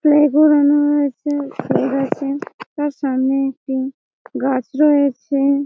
play ground রয়েছে side -এ দেখছি তার সামনে একটি গাছ রয়েছে--